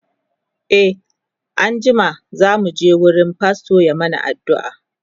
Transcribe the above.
e an jima zamu je wurin fastor ya mana aduua